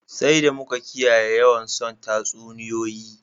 Sai d amu ka kiyaye yawan son tasuniyoyi